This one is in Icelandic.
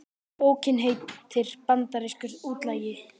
Bókin heitir Bandarískur útlagi